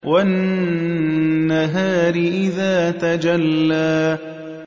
وَالنَّهَارِ إِذَا تَجَلَّىٰ